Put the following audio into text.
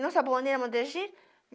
Não